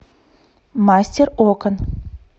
мастер окон